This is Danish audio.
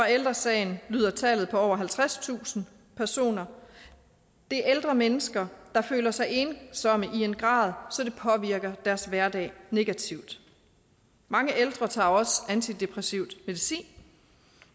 ældre sagen lyder tallet på over halvtredstusind personer det er ældre mennesker der føler sig ensomme i en grad så det påvirker deres hverdag negativt mange ældre tager også antidepressiv medicin